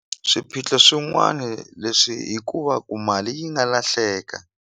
Swiphiqo swin'wani leswi hi ku va ku mali yi nga lahleka.